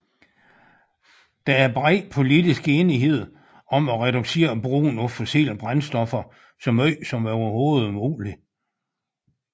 Der er bred politisk enighed om at reducere brugen af fossile brændstoffer så meget som overhovedet muligt